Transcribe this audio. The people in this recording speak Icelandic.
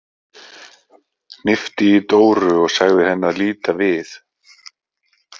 Hnippti í Dóru og sagði henni að líta við.